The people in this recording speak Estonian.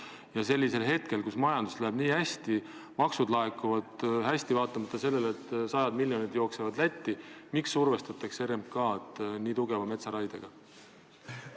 Miks sellisel ajal, kui majandusel läheb nii hästi ja maksud laekuvad hästi – vaatamata sellele, et sajad miljonid lähevad Lätti –, survestatakse RMK-d nii tugeva metsaraiega?